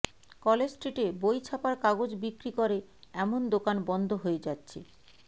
college স্ট্রিটে বই ছাপার কাগজ বিক্রি করে এমন দোকান বন্ধ হয়ে যাচ্ছে